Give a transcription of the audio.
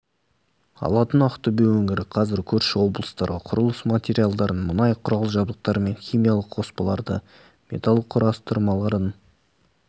алатын ақтөбе өңірі қазір көрші облыстарға құрылыс материалдарын мұнай құрал-жабдықтары мен химиялық қоспаларды металл құрастырмаларын